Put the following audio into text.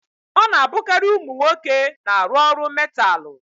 Ọ na-abụkarị ụmụ nwoke na-arụ ọrụ metaalụ.